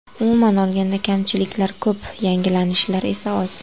Umuman olganda, kamchiliklar ko‘p, yangilanishlar esa oz.